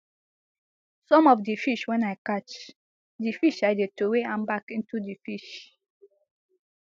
some of di fish wen i catch di fish i dey throway am back into di fish